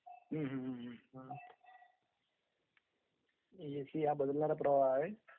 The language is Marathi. हम्मम्म.......एसी हा is not clear